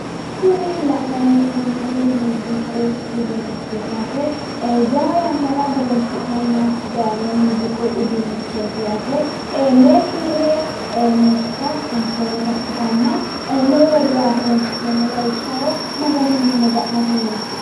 Kuni la'nayi hee'noommohu muuziiqu uduunnichooti yaate. jawa yannara horinsi'nanna dayino muuziiqu uduunnichooti yaate lee kirre noosita anfoommota ikkitanna loworira horonsi'neemmo lawishshaho maganu mine maga'nate horoonsi'nayi.